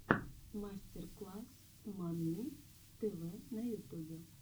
мастер класс мамми тв на ютубе